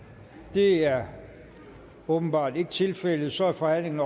det er åbenbart ikke tilfældet og så er forhandlingen